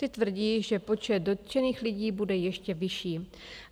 Ty tvrdí, že počet dotčených lidí bude ještě vyšší.